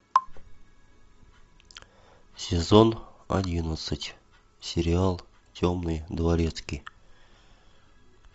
сезон одиннадцать сериал темный дворецкий